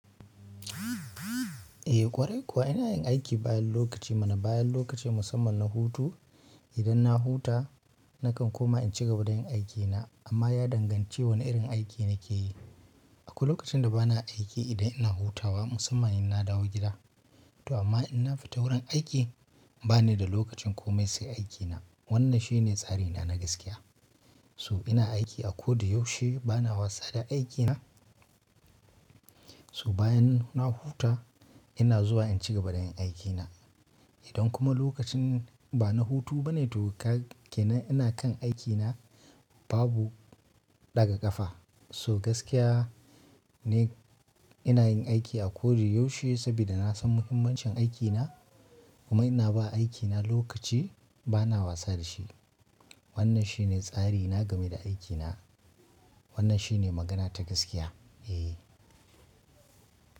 Eh ƙwarai kuwa ina yin aiki bayan lokaci mana, bayan lokaci musamman na hutu. Idan na huta, nakan koma in cigaba da yin aikina amma ya danganci wane irin aiki nake yi. Akwai lokacin da bana aiki idan ina hutawa musamman in na dawo gida. To amma in na fita wurin aiki, ba ni da lokacin komai sai aikina. Wannan shi ne tsarina na gaskiya. To ina aiki a koda yaushe bana wasa da aikina so bayan na huta ina zuwa in cigaba da yin aikina idan kuma lokacin ba na hutu bane toh kag kenan ina kan aikina babu ɗaga ƙafa. So gaskiya ne ina yin aiki a koda yaushe saboda na san muhimmancin aikina kuma ina ba aikina lokaci bana wasa da shi. Wannan shi ne tsarina game da aikina. Wannan shi ne magana ta gaskiya. Eh.